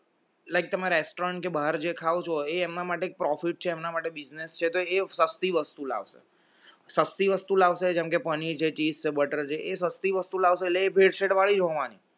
like તમે restaurant કે બહાર જે ખાવ એમના માટે profit છે એમના માટે business છે તો એ સસ્તી વસ્તુ લાવશે સસ્તી વસ્તુ લાવશે જેમ કે પનીર છે, cheese છે, butter છે એ સસ્તી વસ્તુ લાવશે એ ભેળસેળ વાળી જ હોવાની